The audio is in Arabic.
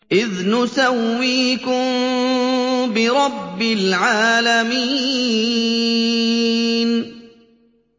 إِذْ نُسَوِّيكُم بِرَبِّ الْعَالَمِينَ